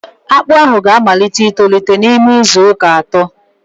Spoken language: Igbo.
Akpụ ahụ ga-amalite itolite n'ime izu uka atọ